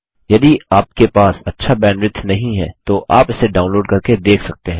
यदि आपके पास अच्छा बैंडविड्थ नहीं है तो आप इसे डाउनलोड करके देख सकते हैं